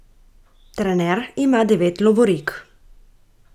Trener ima devet lovorik.